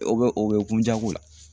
O bɛ o bɛ kun jago la